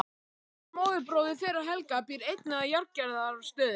Halldór móðurbróðir þeirra Helga býr einnig að Járngerðarstöðum.